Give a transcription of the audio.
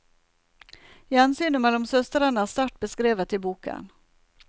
Gjensynet mellom søstrene er sterkt beskrevet i boken.